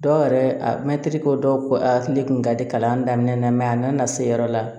Dɔw yɛrɛ a mɛtiri ko dɔw ko a ne kun ka di kalan daminɛ mɛ a nana se yɔrɔ la